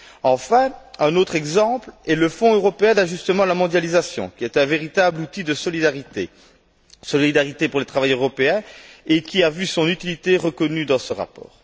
Enfin, un autre exemple est le Fonds européen d'ajustement à la mondialisation, qui est un véritable outil de solidarité, pour les travailleurs européens, et qui a vu son utilité reconnue dans ce rapport.